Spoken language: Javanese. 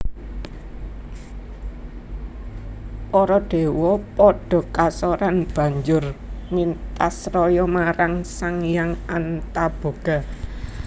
Para dewa padha kasoran banjur mintasraya marang Sang Hyang Antaboga